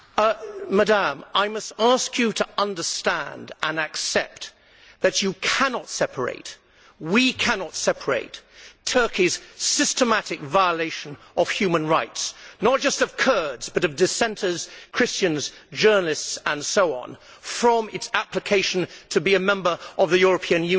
Madam, I must ask you to understand and accept that you cannot separate, we cannot separate, Turkey's systematic violation of human rights not just of Kurds but of dissenters, Christians, journalists and so on from its application to be a member of the European Union.